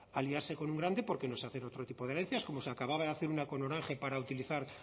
aliarse con un grande porque no sé hacer otro tipo de herencias como se acababa de hacer una con orange para utilizar